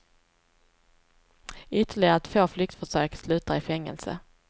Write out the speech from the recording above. Ytterligare två flyktförsök slutar i fängelse.